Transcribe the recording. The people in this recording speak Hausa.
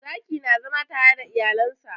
Zaki na zama tare da iyalen sa.